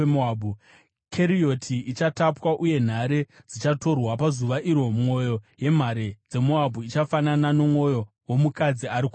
Kerioti ichatapwa uye nhare dzichatorwa. Pazuva iro mwoyo yemhare dzeMoabhu ichafanana nomwoyo womukadzi ari kurwadziwa.